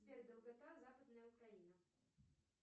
сбер долгота западная украина